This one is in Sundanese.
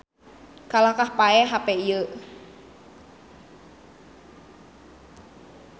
Kalahkah paeh hape ieu